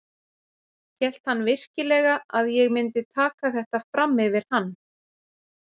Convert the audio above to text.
Hélt hann virkilega að ég myndi taka þetta fram yfir hann?